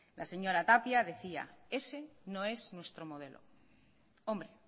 la señora tapia decía ese no es nuestro modelo hombre